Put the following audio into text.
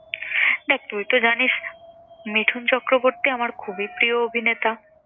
দেখ তুই তো জানিস মিঠুন চক্রবর্তী আমার খুবই প্রিয় অভিনেতা।